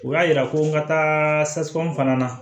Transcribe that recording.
U y'a yira ko n ka taasikɔnɔn fana na